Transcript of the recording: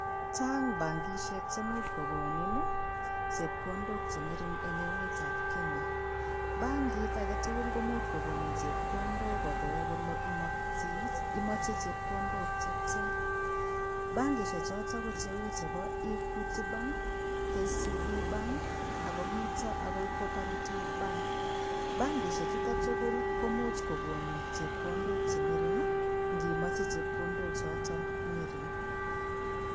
Chang bankisiek chemuch kogonin chepkondok che ngering eng emetab Kenya. Bankit agetugul komuch kogonin chepkondok kopeen kole, imoche chepkondok che tia. Bankisiechoto ko cheu chebo Equity Bank, KCB Bank ak komito agoi Cooperative [sc]Bank. Chutok tugul komuch kogonin chepkondok che ngering ngimoche chepkondok choto ngering.